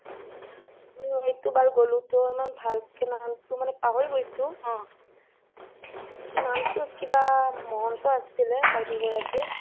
এইটো বাৰ গোলো টোহ ইমান ভালকে নাজানো পাহৰি গৈছো নামটো কিবা মহন্ত আছিলে বাইদেউ গৰাকীৰ